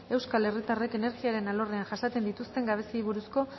euskal herritarrek energiaren alorrean jasaten dituzten gabeziei buruzko